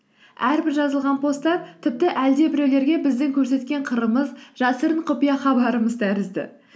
әрбір жазылған постта тіпті әлдебіреулерге біздің көрсеткен қырымыз жасырын құпия хабарымыз тәрізді